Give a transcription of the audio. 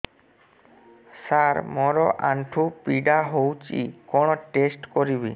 ସାର ମୋର ଆଣ୍ଠୁ ପୀଡା ହଉଚି କଣ ଟେଷ୍ଟ କରିବି